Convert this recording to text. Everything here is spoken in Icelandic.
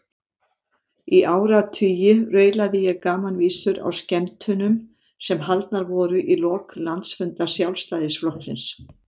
Í áratugi raulaði ég gamanvísur á skemmtunum sem haldnar voru í lok landsfunda Sjálfstæðisflokksins.